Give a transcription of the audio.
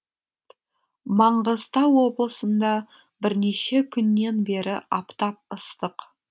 маңғыстау облысында бірнеше күннен бері аптап ыстық